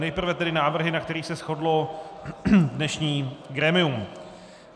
Nejprve tedy návrhy, na kterých se shodlo dnešní grémium.